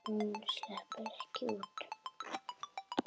Hún sleppur ekki út.